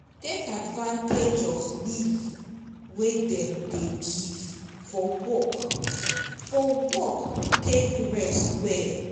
take advantage of leave wey dem dey give for work for work take rest well